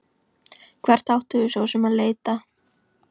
Hvert áttum við svo sem að leita?